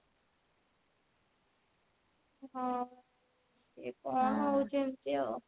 ହଁ ଇଏ ତ ଆମର ଚାଲିଛି ଆଉ।